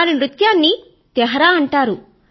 వారి నృత్యాన్ని తెహ్రా అంటారు